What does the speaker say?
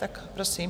Tak prosím.